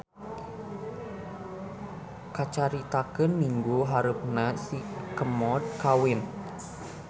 Kacaritakeun minggu hareupna si Kemod kawin.